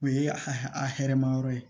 O ye a a hɛrɛma yɔrɔ ye